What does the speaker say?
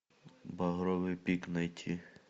багровый пик найти